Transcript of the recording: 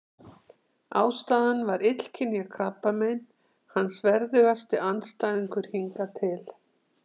Ástæðan var illkynja krabbamein, hans verðugasti andstæðingur hingað til.